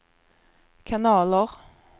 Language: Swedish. kanaler